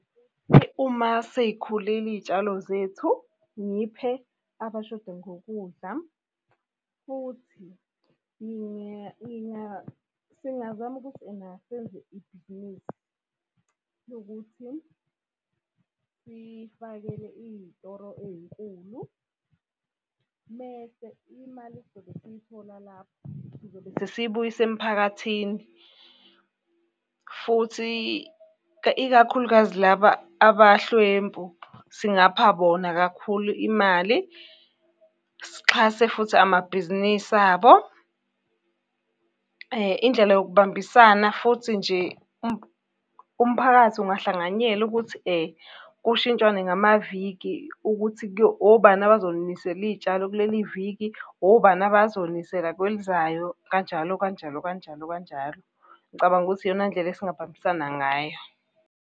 Uma sey'khulile iy'tshalo zethu, ngiphe abashoda ngokudla futhi, singazama ukuthi ena senze ibhizinisi lokuthi sifakele iy'toro ey'nkulu. Mese imali esizobe siy'thola lapho siyibuyise emphakathini. Futhi ikakhulukazi laba abahlwempu, singapha bona kakhulu imali. Sixhase futhi amabhizinisi abo. Indlela yokubambisana futhi nje, umphakathi ungahlanganyela ukuthi kushitshwane ngamaviki ukuthi obani abazonisela iy'tshalo kuleli viki, obani abazonisela kwelizayo, kanjalo kanjalo kanjalo kanjalo. Ngicabanga ukuthi iyona ndlela esingabambisana ngayo.